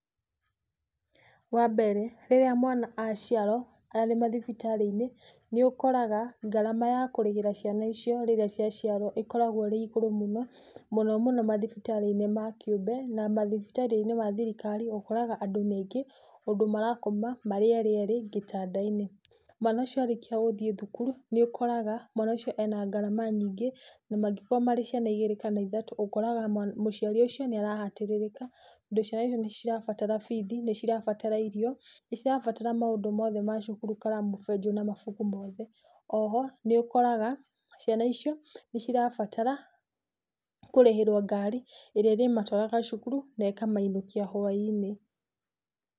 Wambere, rĩrĩa mwana aciarwo arĩ mathibitarĩ-inĩ, nĩ ũkoraga ngarama ya kũrĩhĩra ciana icio rĩrĩa cia ciarwo ĩkoragwo ĩrĩ igũrũ mũno, mũno mũno mathibitarĩ-inĩ ma kiũmbe na mathibitarĩ-inĩ ma thirikari ũkoraga andũ nĩ aingĩ ũndũ marakoma marĩ erĩ erĩ gĩtanda-inĩ. Mwana ũcio arĩkia gũthiĩ thukuru, nĩ ũkoraga mwana ũcio ena ngarama nyingĩ na mangĩkorwo marĩ ciana igĩrĩ kana ithatũ ũkoraga mũciari ũcio nĩ arahatĩrĩrĩka tondũ ciana icio nĩ irabatara bithi, nĩ cirabatara irio, nĩ cirabatara maũndũ mothe ma cukuru, karamu, fenjo na mabuku mothe. Oho, nĩ ũkoraga ciana icio nĩ cirabatara kũrĩhĩrwo ngari ĩrĩa ĩrĩmatũaraga cukuru na ĩkamainũkia hwainĩ.